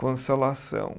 Consolação.